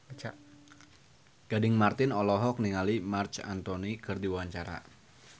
Gading Marten olohok ningali Marc Anthony keur diwawancara